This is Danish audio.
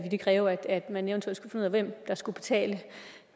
det kræve at man eventuelt af hvem der skulle betale